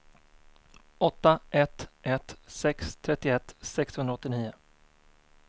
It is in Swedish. åtta ett ett sex trettioett sexhundraåttionio